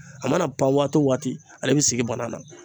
A mana pan waati o waati ale be sigi banan na.